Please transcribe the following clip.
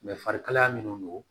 farikalaya minnu don